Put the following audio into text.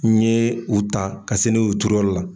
N ye u ta ka se n'u ye u turu yɔrɔ la.